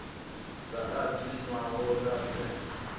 dza rathi nwana o bebwa